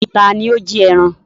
Taàní ó jí ẹran?